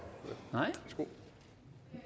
i